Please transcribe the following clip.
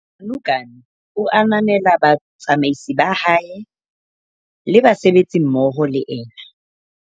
Ganuganu o ananela batsamaisi ba hae le basebetsi mmoho le ena.